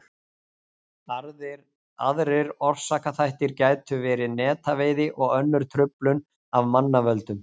aðrir orsakaþættir gætu verið netaveiði og önnur truflun af mannavöldum